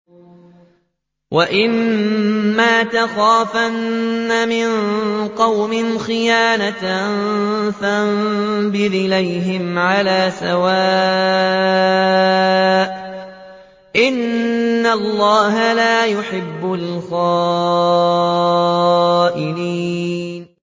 وَإِمَّا تَخَافَنَّ مِن قَوْمٍ خِيَانَةً فَانبِذْ إِلَيْهِمْ عَلَىٰ سَوَاءٍ ۚ إِنَّ اللَّهَ لَا يُحِبُّ الْخَائِنِينَ